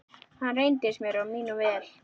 Hann reyndist mér og mínum vel.